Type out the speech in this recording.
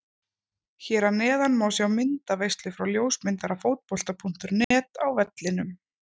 Hér að neðan má sjá myndaveislu frá ljósmyndara Fótbolta.net á vellinum.